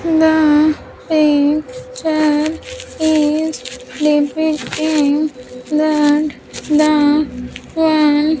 The pink chair is depicting in that the one--